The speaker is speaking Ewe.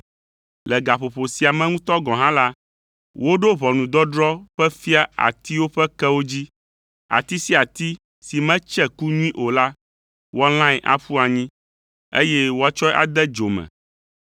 Le gaƒoƒo sia me ŋutɔ gɔ̃ hã la, woɖo ʋɔnudɔdrɔ̃ ƒe fia atiwo ƒe kewo dzi: ati sia ati si metse ku nyui o la, woalãe aƒu anyi, eye woatsɔe ade dzo me.